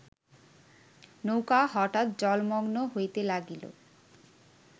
নৌকা হঠাৎ জলমগ্ন হইতে লাগিল